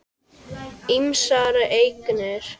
Ýmsar eignir.